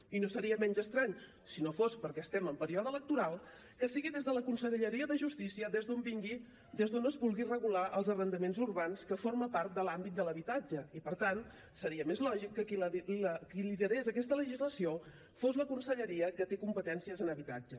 i no seria menys estrany si no fos perquè estem en període electoral que sigui des de la conselleria de justícia des d’on es vulgui regular els arrendaments urbans que formen part de l’àmbit l’habitatge i per tant seria més lògic que qui liderés aquesta legislació fos la conselleria que té competències en habitatge